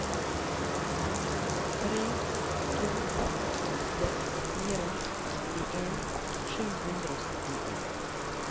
tre to åtte fire syttien sju hundre og syttien